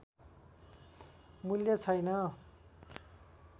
मूल्य छैन